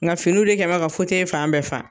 Nka finiw de kɛ mɛ ka fan bɛɛ fa